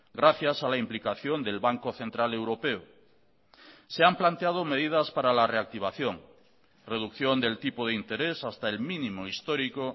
gracias a la implicación del banco central europeo se han planteado medidas para la reactivación reducción del tipo de interés hasta el mínimo histórico